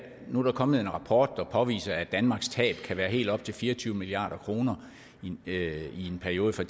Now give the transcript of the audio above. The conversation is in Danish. nu er der kommet en rapport der påviser at danmarks tab kan være på helt op til fire og tyve milliard kroner i perioden fra